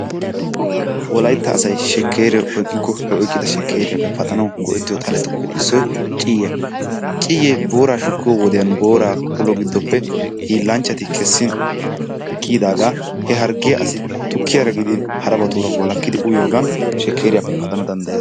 Wolaytta asay shekkeree oyqqikko he oyqqida sheekeriyaappe paaxxanawu go"ettiyoo xalettuppe issoy ciiyyiyaa. Ciyyiyee booraa shukkiyoo wode booraa ulo giddoppe hiillanchchati keessin kiiyidaagaa he harggiyaa asi tukkiyaara giidin harabaaratura walakkidi uyyiyoogan shekeeriyaape paxanawu danddayees.